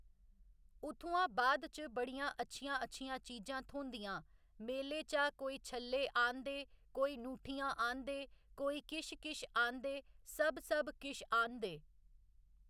उत्थुयां बाद च बड़ियां अच्छियां अच्छियां चीजां थ्होंदियां मेले चा कोई छल्ले आह्न्नदे कोई ङूठियां आह्न्नदे कोई किश किश आह्न्नदे सब सब किश आह्न्नदे।